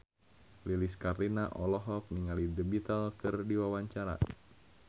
Lilis Karlina olohok ningali The Beatles keur diwawancara